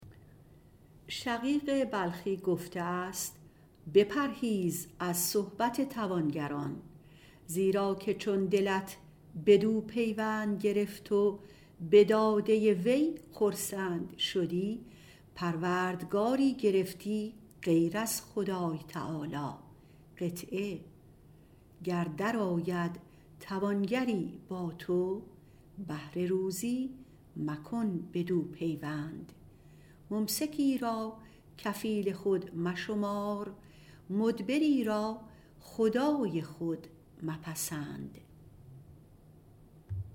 شقیق بلخی - قدس الله تعالی سره - گفته است بپرهیز از صحبت توانگر زیرا که چون دلت بدو پیوند گرفت و به داده وی خرسند شدی پروردگاری گرفتی غیر خدای تعالی گر درآید توانگری با تو بهر روزی بدو مکن پیوند ممسکی را کفیل خود مشمار مدبری را خدای خود مپسند